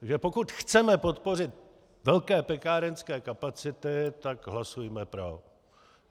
Takže pokud chceme podpořit velké pekárenské kapacity, tak hlasujme pro.